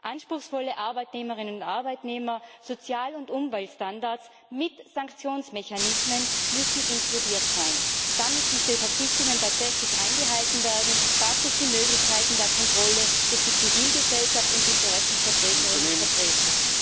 Anspruchsvolle Arbeitnehmerinnen und Arbeitnehmer, Sozial und Umweltstandards mit Sanktionsmechanismen müssen inkludiert sein. Damit diese Verpflichtungen tatsächlich eingehalten werden, braucht es die Möglichkeiten der Kontrolle durch die Zivilgesellschaft und die Interessensvertreterinnen und vertreter.